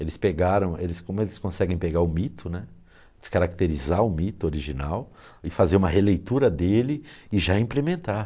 Eles pegaram, eles como eles conseguem pegar o mito né, descaracterizar o mito original e fazer uma releitura dele e já implementar.